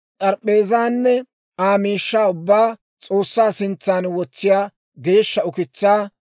s'arp'p'eezaanne Aa miishshaa ubbaa S'oossaa sintsan wotsiyaa geeshsha ukitsaa,